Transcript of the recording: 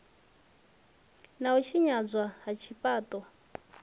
na u tshinyadzwa ha zwifhaṱo